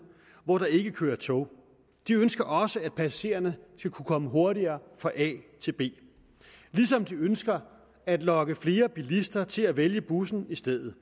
hvor der ikke kører tog de ønsker også at passagererne skal kunne komme hurtigere fra a til b ligesom de ønsker at lokke flere bilister til at vælge bussen i stedet